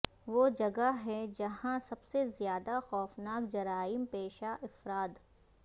وہ جگہ ہے جہاں سب سے زیادہ خوفناک جرائم پیشہ افراد